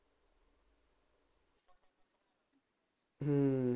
ਹੂੰ